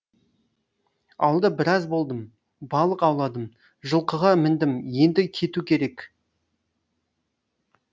ауылда біраз болдым балық ауладым жылқыға міндім енді кету керек